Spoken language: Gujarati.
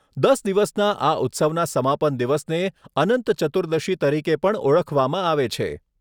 દસ દિવસના આ ઉત્સવના સમાપન દિવસને અનંત ચતુર્દશી તરીકે પણ ઓળખવામાં આવે છે.